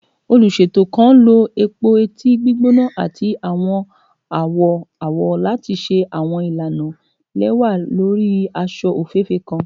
Oluṣeto kan lo epo-eti gbigbona ati awọn awọ awọ lati ṣe awọn ilana lẹwa lori aṣọ ofeefee kan